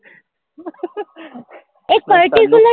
એક particular